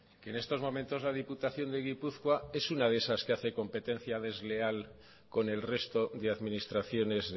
que en estos momentos la diputación de gipuzkoa es una de esas que hace competencia desleal con el resto de administraciones